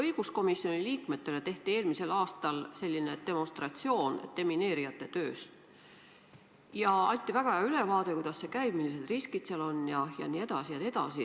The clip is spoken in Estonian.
Õiguskomisjoni liikmetele tehti eelmisel aastal demonstratsioon demineerijate tööst ja anti väga hea ülevaade, kuidas see käib, millised riskid seal on jne.